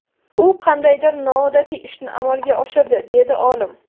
U qandaydir noodatiy ishni amalga oshirdi”, dedi olim.